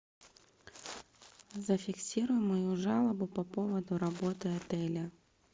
зафиксируй мою жалобу по поводу работы отеля